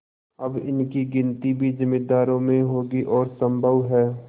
अब इनकी गिनती भी जमींदारों में होगी और सम्भव है